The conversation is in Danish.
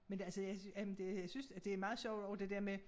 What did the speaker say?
Men det altså jeg synes jamen det synes at det meget sjovt også det dér med